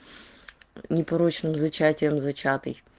непорочным зачатием зачатый